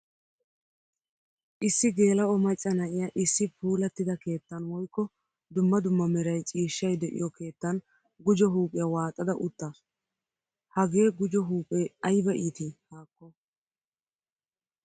Issi gela'o macca na'iyaa issi puulattida keettan woykko dumma dumma meray ciishshay deiyo keettan gujjo huuphphiyaa waaxada uttasu. Hagee gujjo huuphphee ayba iiti? haakko.